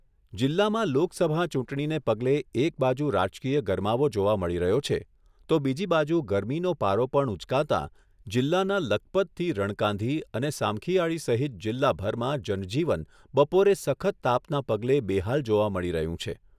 જીલ્લામાં લોકસભા ચૂંટણીને પગલે એક બાજુ રાજકીય ગરમાવો જોવા મળી રહ્યો છે, તો બીજી બાજુ ગરમીનો પારો પણ ઉંચકાતા જીલ્લાના લખપતથી રણકાંધી અને સામખીયાળી સહિત જીલ્લાભરમાં જનજીવન બપોરે સખત તાપના પગલે બેહાલ જોવા મળી રહ્યું છે.